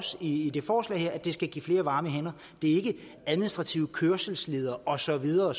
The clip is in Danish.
i det forslag her at det skal give flere varme hænder det er ikke administrative kørselsledere og så videre